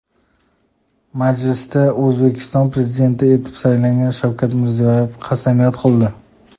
Majlisda O‘zbekiston Prezidenti etib saylangan Shavkat Mirziyoyev qasamyod qildi .